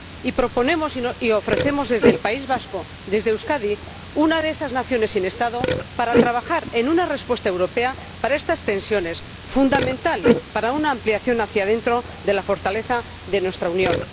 Y nos proponemos y ofrecemos desde el País Vasco, desde Euskadi, una de esas naciones sin Estado, para trabajar en una respuesta europea para estas tensiones, fundamental para una ampliación hacia dentro de la fortaleza de nuestra Unión.